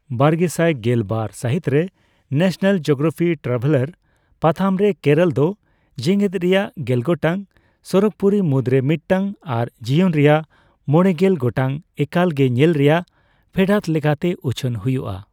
ᱵᱟᱨᱜᱮᱥᱟᱭ ᱜᱮᱞ ᱵᱟᱨ ᱥᱟᱹᱦᱤᱛᱨᱮ ᱱᱟᱥᱱᱟᱞ ᱡᱤᱣᱜᱨᱟᱯᱤ ᱴᱨᱟᱵᱷᱮᱞᱟᱨ ᱯᱟᱛᱷᱟᱢᱨᱮ ᱠᱮᱨᱚᱞᱫᱚ ᱡᱮᱜᱮᱫ ᱨᱮᱭᱟᱜ ᱜᱮᱞ ᱜᱚᱴᱟᱝ ᱥᱚᱨᱚᱜᱯᱩᱨᱤ ᱢᱩᱫᱨᱮ ᱢᱤᱫᱴᱟᱝ ᱟᱨ ᱡᱤᱭᱚᱱ ᱨᱮᱭᱟᱜ ᱢᱚᱲᱮᱜᱮᱞ ᱜᱚᱴᱟᱝ ᱮᱠᱟᱞ ᱜᱮ ᱧᱮᱞ ᱨᱮᱭᱟᱜ ᱯᱷᱮᱰᱟᱛ ᱞᱮᱠᱟᱛᱮ ᱩᱪᱷᱟᱹᱱ ᱦᱩᱭᱩᱜᱼᱟ ᱾